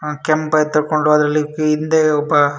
ಯಾ ಕೆಂಪ್ ಬೈಕ್ ತಗೊಂಡ್ರಲ್ಲಿ ಹಿಂದೆ ಒಬ್ಬ --